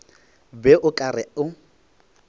be o ka re o